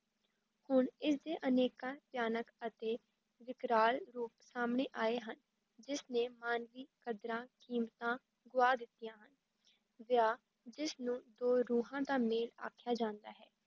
ਹੁਣ ਇਸ ਦੇ ਅਨੇਕਾਂ ਭਿਆਨਕ ਅਤੇ ਵਿਕਰਾਲ ਰੂਪ ਸਾਹਮਣੇ ਆਏ ਹਨ, ਜਿਸ ਨੇ ਮਾਨਵੀ ਕਦਰਾਂ ਕੀਮਤਾਂ ਗੁਆ ਦਿੱਤੀਆਂ ਹਨ, ਵਿਆਹ ਜਿਸ ਨੂੰ ਦੋ ਰੂਹਾਂ ਦਾ ਮੇਲ ਆਖਿਆ ਜਾਂਦਾ ਹੈ,